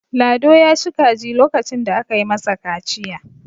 lado ya ci kaji lokacin da aka yi masa kaciya